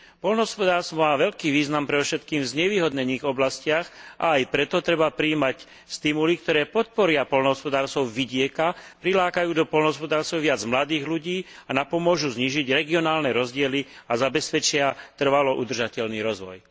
Poľnohospodárstvo má veľký význam predovšetkým v znevýhodnených oblastiach a aj preto treba prijímať stimuly, ktoré podporia poľnohospodárstvo vidieka, prilákajú do poľnohospodárstva viac mladých ľudí a napomôžu znížiť regionálne rozdiely a zabezpečia trvalo udržateľný rozvoj.